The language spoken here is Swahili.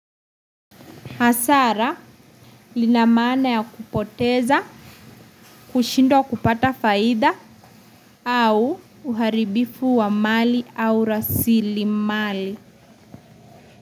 Hasara lina maana ya kupoteza kushindwa kupata faida au uharibifu wa mali au rasilimali.